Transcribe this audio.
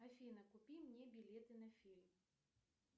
афина купи мне билеты на фильм